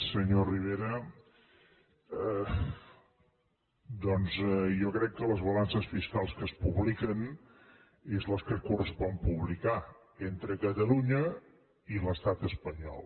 senyor rivera doncs jo crec que les balances fiscals que es publiquen són les que correspon publicar entre catalunya i l’estat espanyol